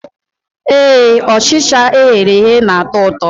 Ee, Ọchịcha eghere eghe na-atọ ụtọ